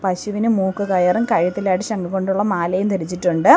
പശുവിന് മൂക്കുകയറും കഴുത്തിലായിട്ട് ശംഖുകൊണ്ടുള്ള മാലയും ധരിച്ചിട്ടുണ്ട്.